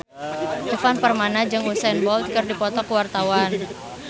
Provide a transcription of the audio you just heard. Ivan Permana jeung Usain Bolt keur dipoto ku wartawan